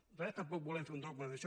nosaltres tampoc volem fer un dogma d’això